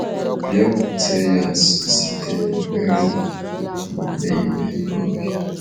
Bịakwute ya nso site n’ekpere na omume ime mmụọ.